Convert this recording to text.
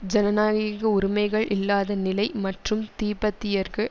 ஜனநாயக உரிமைகள் இல்லாத நிலை மற்றும் திபத்தியர்க்கு